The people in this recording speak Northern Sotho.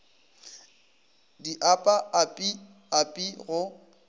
di apa api api go